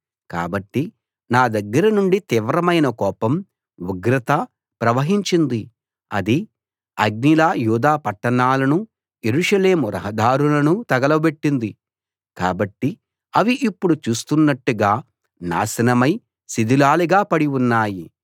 కాబట్టి నా దగ్గర నుండి తీవ్రమైన కోపం ఉగ్రత ప్రవహించింది అది అగ్నిలా యూదా పట్టణాలనూ యెరూషలేము రహదారులనూ తగులబెట్టింది కాబట్టి అవి ఇప్పుడు చూస్తున్నట్టుగా నాశనమై శిథిలాలుగా పడి ఉన్నాయి